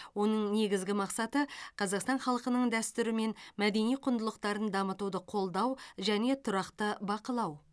оның негізгі мақсаты қазақстан халқының дәстүрі мен мәдени құндылықтарын дамытуды қолдау және тұрақты бақылау